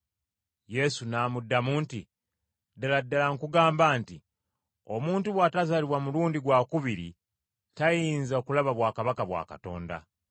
Yesu n’amuddamu nti, “Ddala ddala nkugamba nti, Omuntu bw’atazaalibwa mulundi gwakubiri tayinza kulaba bwakabaka bwa Katonda.”